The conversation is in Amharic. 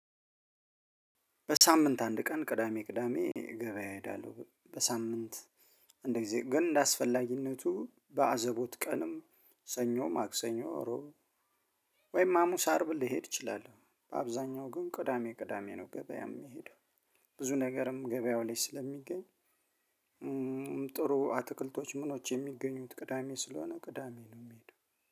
በሳምንት አንድ ቀን ቅዳሜ ቅዳሜ ገበያ እሄዳለሁ በሳምንት አንዳንድ ጊዜ ግን እንደ አስፈላጊነቱ በአዘቦት ቀንም ሰኞ ማክሰኞ ረቡዕ ወይም ሀሙስ አርብ ልሄድ እችላለሁ። በአብዛኛው ግን ቅዳሜ ቅዳሜ ነው ገበያ የሚሄደው። ብዙ ነገርም ገበያው ላይ ስለሚገኝ። ጥሩ አትክልቶች ምኖች የሚገኙት ቅዳሜ ስለሆነ ቅዳሜ ነው የምሄደው።